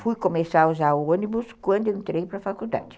Fui começar a usar ônibus quando entrei para a faculdade.